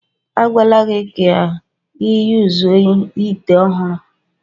A gwala gi ka i yuzuo ite ohuru.